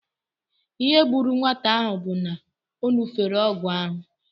Ihe gburu nwata ahụ bụ na ọ ṅụfere ọgwụ ahụ